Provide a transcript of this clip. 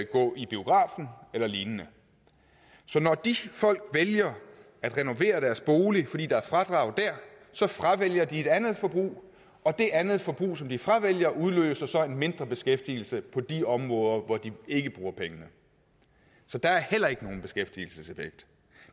gå i biografen eller lignende så når de folk vælger at renovere deres bolig fordi der er fradrag der så fravælger de et andet forbrug og det andet forbrug som de fravælger udløser så en mindre beskæftigelse på de områder hvor de ikke bruger pengene så der er heller ikke nogen beskæftigelseseffekt